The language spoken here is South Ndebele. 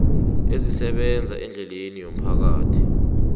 ezisebenza eendleleni zomphakathi